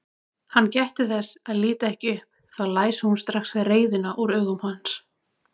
Hann gætti þess að líta ekki upp, þá læsi hún strax reiðina úr augum hans.